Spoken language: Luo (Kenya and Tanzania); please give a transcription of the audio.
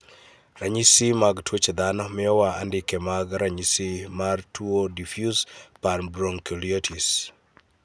Ranyisi mag tuoche dhano miyowa wa andike mag ranyisi mat tuo Diffuse panbronchiolitis?